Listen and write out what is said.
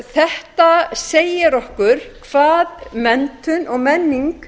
þetta segir okkur hvað menntun og menning